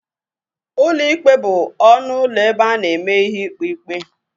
Ụlọ ikpe bụ ọnụ ụlọ ebe a na-eme ihe ikpe ikpe.